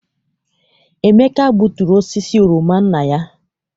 Emeka gbuturu osisi oroma nna ya.